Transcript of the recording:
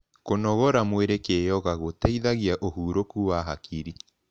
Kunogora mwiri kiyoga guteithagia uhuruku wa hakiri